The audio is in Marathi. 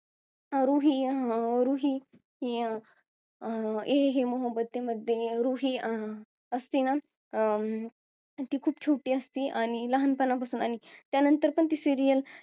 रुही अं रुही ही अं ये है मोहब्बते मध्ये रुही अं असती ना अं ती खूप छोटी असती आणि लहानपणा पासन आणि त्या नंतर पण ती serial